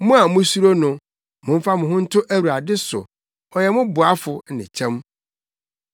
Mo a musuro no, momfa mo ho nto Awurade so, ɔyɛ mo boafo ne kyɛm.